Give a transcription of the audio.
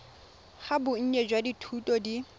ga bonnye jwa dithuto di